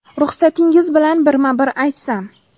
Ruxsatingiz bilan birma-bir aytsam.